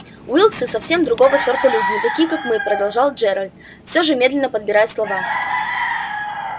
уилксы совсем другого сорта люди не такие как мы продолжал джералд все же медленно подбирая слова